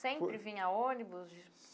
Sempre vinha ônibus?